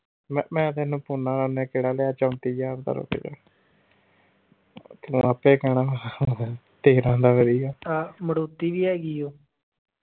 ਮੈਂ ਮੈਂ ਤੈਨੂੰ ਪਾਉਣਾ ਉਹਨੇ ਕਿਹੜਾ ਲਿਆ ਚੌਂਤੀ ਹਾਜ਼ਾਰ ਦਾ ਰੁਕ ਜਾ ਆਪੇ ਕਹਿਣਾ ਤੇਰਾਂ ਦਾ ਕਰੀਏ।